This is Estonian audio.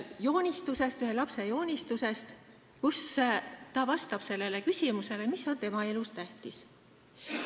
Siin on ühe lapse joonistus, millega ta vastab küsimusele, mis on tema elus tähtis.